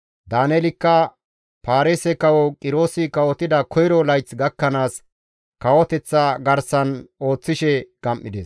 Daaneelikka Paarise kawo Qiroosi kawotida koyro layth gakkanaas kawoteththa garsan ooththishe gam7ides.